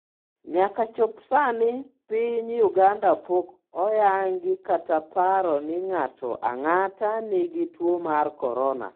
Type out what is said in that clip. Nyaka chop sani piny Uganda pok oyangi kata paro ni ng'ato ang'ata nigi tuo mar Korona.